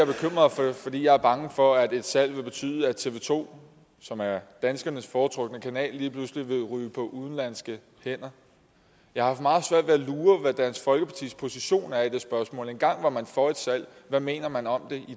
for fordi jeg er bange for at et salg vil betyde at tv to som er danskernes foretrukne kanal lige pludselig vil ryge på udenlandske hænder jeg har haft meget svært ved at lure hvad dansk folkepartis position er i det spørgsmål engang var man for et salg hvad mener man om det